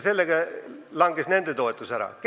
Sellega langes nende toetus ära.